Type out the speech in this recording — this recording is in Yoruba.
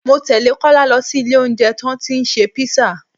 Mọ tẹ́lẹ̀ Kọ́lá lọ sí ilé oúnjẹ tán tí ṣe písà